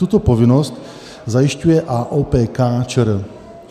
Tuto povinnost zajišťuje AOPK ČR.